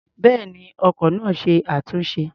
Bẹ́ẹ̀ni, ọkọ̀ náà ṣe é túnṣe.